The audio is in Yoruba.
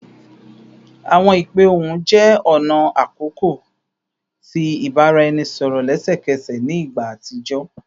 Awọn ipe ohun jẹ ọna akọkọ ti ibaraẹnisọrọ lẹsẹkẹsẹ ni igba atijọ